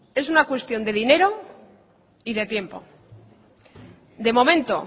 es una cuestión de dinero y de tiempo de momento